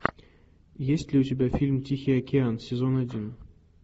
есть ли у тебя фильм тихий океан сезон один